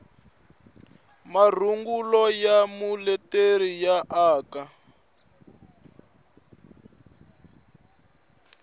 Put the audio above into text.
marungulo ya muleteri ya aka